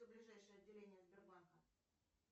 ближайшее отделение сбербанка